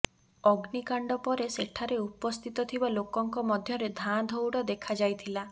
ଅଗ୍ନିକାଣ୍ଡ ପରେ ସେଠାରେ ଉପସ୍ଥିତ ଥିବା ଲୋକଙ୍କ ମଧ୍ୟରେ ଧାଁ ଧଉଡ ଦେଖାଯାଇଥିଲା